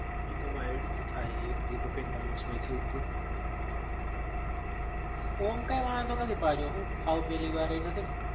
ઓમ કઈ વાંધો નથી પાછો હું સાવ પેલી વારે નથી ન